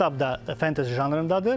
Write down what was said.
Bu kitab da fantezi janrındadır.